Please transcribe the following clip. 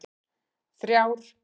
þrjár